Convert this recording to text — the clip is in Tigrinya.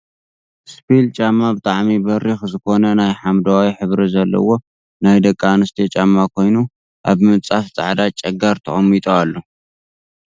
እስፒል ጫማ ብጣዕሚ በሪክ ዝኮነ ናይ ሓመደዋይ ሕብሪ ዘለዎ ናይ ደቂ ኣንስትዮ ጫማ ኮይኑ ኣብ ምንፃፍ ፃዕዳ ጨጋር ተቀሚጡ ኣሎ።